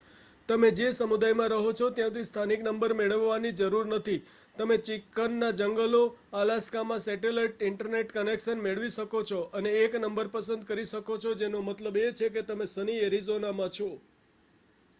તમે જે સમુદાયમાં રહો છો ત્યાંથી સ્થાનિક નંબર મેળવવાની જરૂર નથી તમે ચિકન ના જંગલો અલાસ્કામાં સેટેલાઇટ ઇન્ટરનેટ કનેક્શન મેળવી શકો છો અને એક નંબર પસંદ કરી શકો છો જેનો મતલબ એ છે કે તમે સની એરિઝોનામાં છો